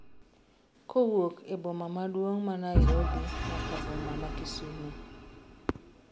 kowuok e boma maduong' ma Nairobi nyaka boma ma Kisumo